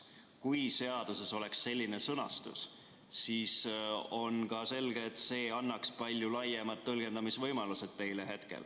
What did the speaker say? Kui seaduses oleks selline sõnastus, siis oleks selge, et see annaks teile palju laiemad tõlgendamisvõimalused.